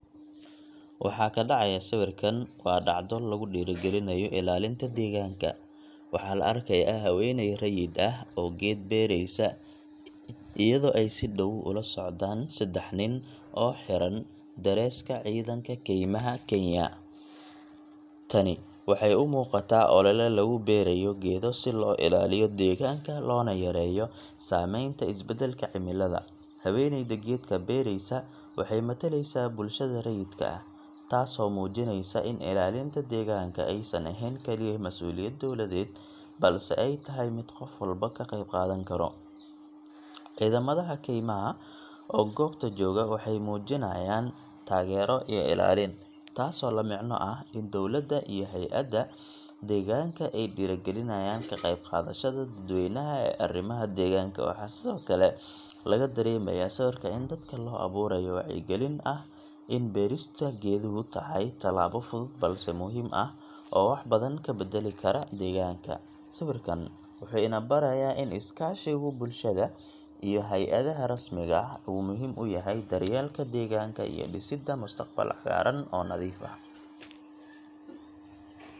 Waxa ka dhacaya sawirkan waa dhacdo lagu dhiirrigelinayo ilaalinta deegaanka. Waxaa la arkayaa haweeney rayid ah oo geed beeraysa, iyadoo ay si dhow ula socdaan saddex nin oo xiran dareeska Ciidanka Kaymaha Kenya. Tani waxay u muuqataa olele lagu beeraayo geedo si loo ilaaliyo deegaanka, loona yareeyo saameynta isbedelka cimilada. Haweeneyda geedka beeraysa waxay matalaysaa bulshada rayidka ah, taasoo muujinaysa in ilaalinta deegaanka aysan ahayn kaliya mas’uuliyad dowladeed, balse ay tahay mid qof walba ka qeyb qaadan karo. Ciidamada kaymaha oo goobta jooga waxay muujinayaan taageero iyo ilaalin, taasoo la micno ah in dowladda iyo hay’ada deegaanka ay dhiirrigelinayaan ka qeybqaadashada dadweynaha ee arrimaha deegaanka. Waxaa sidoo kale laga dareemayaa sawirka in dadka loo abuurayo wacyi-gelin ah in beerista geeduhu tahay tallaabo fudud balse muhiim ah oo wax badan ka beddeli kara deegaanka. Sawirkan wuxuu ina barayaa in is-kaashiga bulshada iyo hay’adaha rasmiga ahi uu muhiim u yahay daryeelka deegaanka iyo dhisidda mustaqbal cagaaran oo nadiif ah.